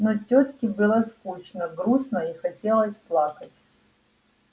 но тётке было скучно грустно и хотелось плакать